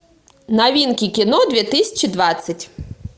новинки кино две тысячи двадцать